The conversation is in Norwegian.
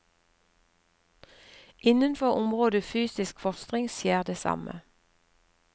Innenfor området fysisk fostring skjer det samme.